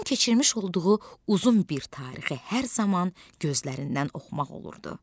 Onun keçirmiş olduğu uzun bir tarixi hər zaman gözlərindən oxumaq olurdu.